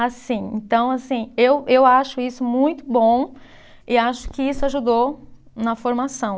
Assim, então assim, eu eu acho isso muito bom e acho que isso ajudou na formação.